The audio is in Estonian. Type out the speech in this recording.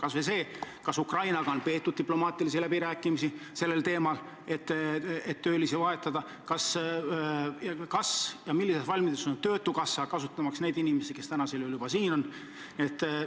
Kas või see, kas Ukrainaga on peetud diplomaatilisi läbirääkimisi sellel teemal, et töölisi vahetada, ning millises valmiduses on töötukassa, kasutamaks neid inimesi, kes juba siin on?